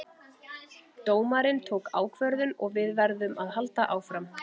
Dómarinn tók ákvörðun og við verðum að halda áfram